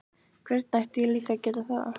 Hvernig ætti ég líka að geta það?